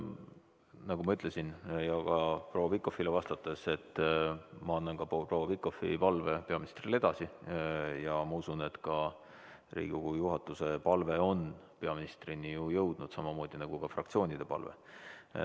Nagu ma ütlesin ka proua Pikhofile vastates, et ma annan proua Pikhofi palve peaministrile edasi, ja ma usun, et ka Riigikogu juhatuse palve on peaministrini jõudnud, samamoodi nagu fraktsioonide palve.